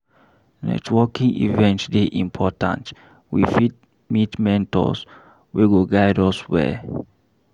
Networking event dey important, we fit meet mentors wey go guide us well.